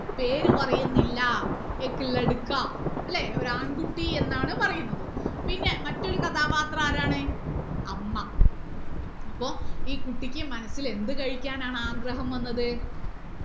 പേര് പറയുന്നില്ല അല്ലെ ഒര് ആൺകുട്ടി എന്നാണ് പറയുന്നത് പിന്നെ മറ്റൊരു കഥാപത്രം ആരാണ് അമ്മ അപ്പൊ ഈ കുട്ടിക്ക് മനസ്സിൽ എന്ത് കഴിക്കാനാണ് ആഗ്രഹം വന്നത്